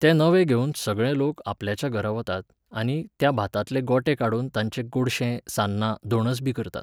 तें नवें घेवून सगळे लोक आपल्याच्या घरा वतात आनी त्या भातांतले गोटे काडून ताचें गोडशें, सान्नां, धोणसबी करतात